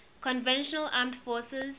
conventional armed forces